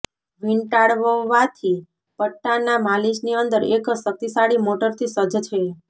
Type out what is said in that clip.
વીંટાળવવાથી પટ્ટાના માલિશની અંદર એક શક્તિશાળી મોટરથી સજ્જ છે